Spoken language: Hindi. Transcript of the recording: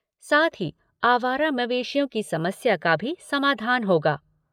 साथ ही आवारा मवेशियों की समस्या का भी समाधान होगा।